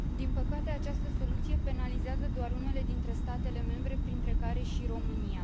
Din păcate, această soluție penalizează doar unele dintre statele membre, printre care și România.